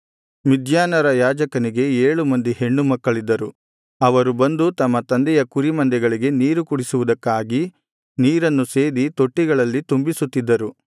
ಮಿದ್ಯಾನರ ಯಾಜಕನಿಗೆ ಏಳು ಮಂದಿ ಹೆಣ್ಣು ಮಕ್ಕಳಿದ್ದರು ಅವರು ಬಂದು ತಮ್ಮ ತಂದೆಯ ಕುರಿ ಮಂದೆಗಳಿಗೆ ನೀರು ಕುಡಿಸುವುದಕ್ಕಾಗಿ ನೀರನ್ನು ಸೇದಿ ತೊಟ್ಟಿಗಳಲ್ಲಿ ತುಂಬಿಸುತ್ತಿದ್ದರು